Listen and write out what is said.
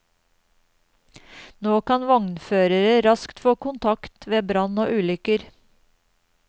Nå kan vognførere raskt få kontakt ved brann og ulykker.